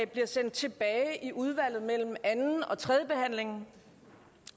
bliver sendt tilbage i udvalget mellem anden og tredje behandling